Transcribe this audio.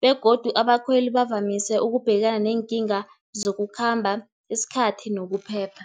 begodu abakhweli bavamise ukubhekana neenkinga zokukhamba isikhathi nokuphepha.